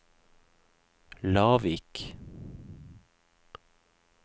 Lavik